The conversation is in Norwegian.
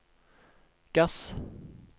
gass